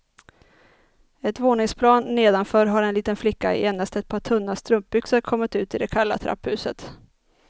Ett våningsplan nedanför har en liten flicka i endast ett par tunna strumpbyxor kommit ut i det kalla trapphuset.